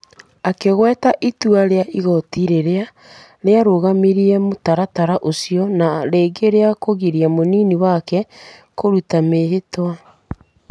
Akĩgweta itua rĩa igoti rĩrĩa rĩarũgamirie mũtaratara ũcio na rĩngĩ rĩa kũgiria mũnini wake kũruta mĩĩhĩtwa.